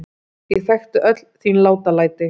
Ég þekkti öll þín látalæti.